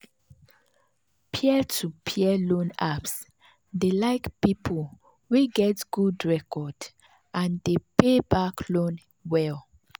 peer-to-peer loan apps dey like people wey get good record and dey pay back loan well.